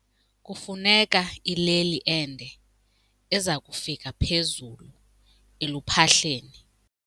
Kufuneka ileli ende eza kufika phezulu eluphahleni.